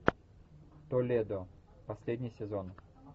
толедо последний сезон